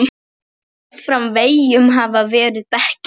Meðfram veggjum hafa verið bekkir.